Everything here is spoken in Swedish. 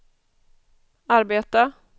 arbeta